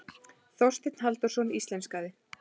Þorsteinn Halldórsson íslenskaði.